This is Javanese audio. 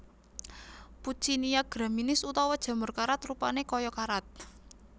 Puccinia graminis utawa jamur karat rupané kaya karat